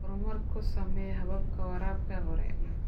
Horumar ku samee hababka waraabka hore.